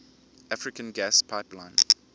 african gas pipeline